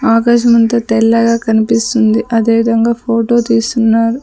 ఆకాశమంతా తెల్లగా కనిపిస్తుంది అదేవిధంగా ఫోటో తీస్తున్నారు.